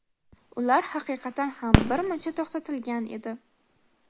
ular haqiqatan ham bir muncha to‘xtatilgan edi.